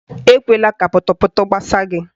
Ekwela ka pọtọpọtọ gbasaa gị.